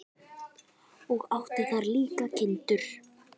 Og átti þar líka kindur.